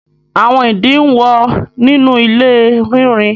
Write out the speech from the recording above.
Àwọn ìdin ń wọ́ nínú ilé rínrin